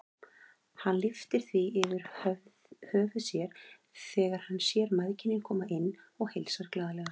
Hann lyftir því yfir höfuð sér þegar hann sér mæðginin koma inn og heilsar glaðlega.